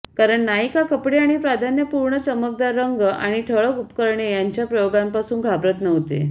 कारण नायिका कपडे आणि प्राधान्यपूर्ण चमकदार रंग आणि ठळक उपकरणे यांच्या प्रयोगांपासून घाबरत नव्हते